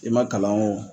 I ma kalan o